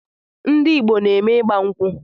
Ndị Igbo na-eme ịgba nkwu